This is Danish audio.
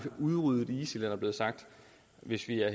udryddet isil hvis vi er